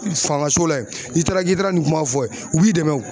Fanga so la ye n'i taara k'i taara nin kuma fɔ yen u b'i dɛmɛn o.